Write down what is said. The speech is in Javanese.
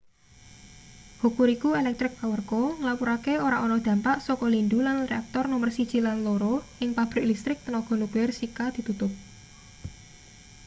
hokuriku electric power co nglapurake ora ana dampak saka lindhu lan reaktor nomer 1 lan 2 ing pabrik listrik tenaga nuklir shika ditutup